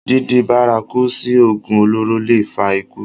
dídi bárakú sí ògùn olóró le è fa ikú